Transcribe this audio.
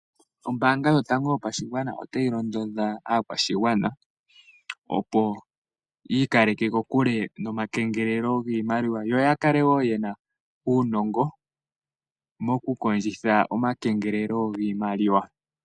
Oombaanga yotango yopashigwana otayi londodha aakwashigwana opo yi ikaleke kokule nomakengelelo giimaliwa, yo ya kale wo ye na uunongo mokukondjitha omakengelelo giimaliwa.